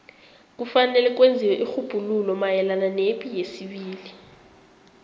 kufanele kwenziwe irhubhululo mayelana nepi yesibili